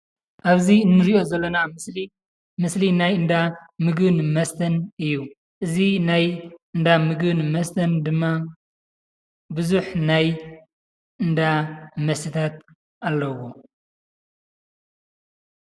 አብዚ እንሪኦ ዘለና ምስሊ ምስሊ ናይ እንዳ ምግብን መስተን እዩ። እዚ ናይ እንዳ ምግብን መስተን ድማ ብዙሕ ናይ እንዳ መስተ አለዎ።